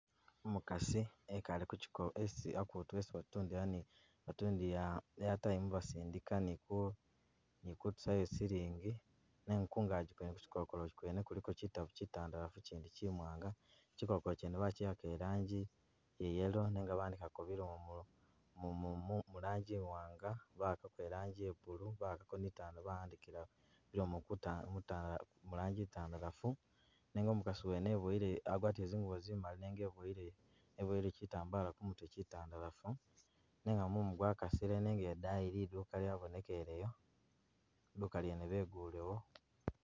Umukasi ekale kuchiko hakutu hesi batundila airtime basidika ni ku ni kutusayo silingi nenga kungagi kwene kuchikokolo kyene kuliko kyitabu kyitandalafu kyindi kyimanaga chikokolo kyene bachikaka ilangi ya yellow nenga bahandikako bilomo mulangi iwaang bahakako i'laangi ye blue bahakako ni i'laangi itandalaafu bahandikila bilomo mulangi itandalafu nenga umukasi wene eboyele agwatile zingubo zimali nenga eboyele kyitambala kumutwe kyitandalafu nenga mumu gwakasile nenga idayi liduuka lyabonekeleyo liduuka lyeene begulewo.